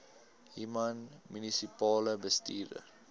human munisipale bestuurder